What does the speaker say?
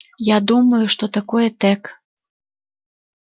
я думаю что такое тёк